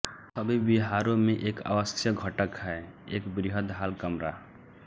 सभी विहारों में एक आवश्यक घटक है एक वृहत हॉल कमरा